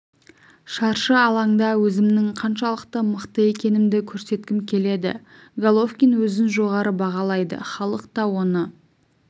шаршы алаңда өзімнің қаншалықты мықты екендігімді көрсеткім келеді головкин өзін жоғары бағалайды халық та оны